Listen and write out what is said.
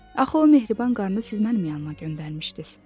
Axı o mehriban qadını siz mənim yanıma göndərmişdiz.